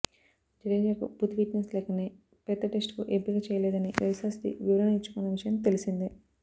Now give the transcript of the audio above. జడేజాకు పూర్తి ఫిట్నెస్ లేకనే పెర్త్ టెస్టుకు ఎంపిక చేయలేదని రవిశాస్త్రి వివరణ ఇచ్చుకున్న విషయం తెలిసిందే